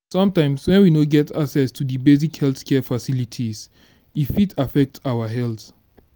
sometimes when we no get access to di basic health care facilities e fit affect our health